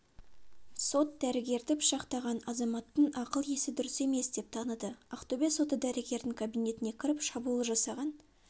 сот дәрігерді пышақтаған азаматтың ақыл-есі дұрыс емес деп таныды ақтөбе соты дәрігердің кабинетіне кіріп шабуыл жасаған